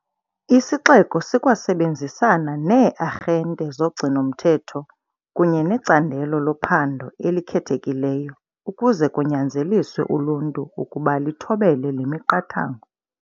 Isixeko sikwasebenzisana nee-arhente zogcino-mthetho kunye neCandelo loPhando eliKhethekileyo ukuze kunyanzeliswe uluntu ukuba lithobele le miqathango.